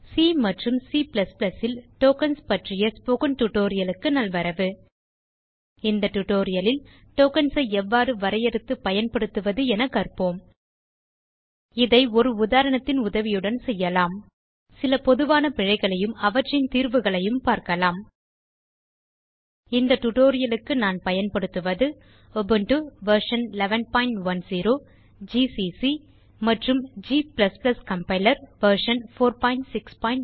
C மற்றும் c plus plus ல் tokens பற்றிய ஸ்போக்கன் டியூட்டோரியல் க்கு நல்வரவு இந்த tutorial லில் டோக்கன்ஸ் ஐ எவ்வாறு வரையறுத்து பயன்படுத்துவது என கற்போம் இதை ஒரு உதாரணத்தின் உதவியுடன் செய்யலாம் சில பொதுவான பிழைகளையும் அவற்றின் தீர்வுகளையும் பார்க்கலாம் இந்த டியூட்டோரியல் க்கு நான் பயன்படுத்துவது உபுண்டு வெர்ஷன் 1110 ஜிசிசி மற்றும் g கம்பைலர் வெர்ஷன் 461